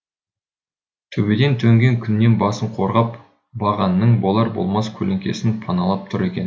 төбеден төнген күннен басын қорғап бағанның болар болмас көлеңкесін паналап тұр екен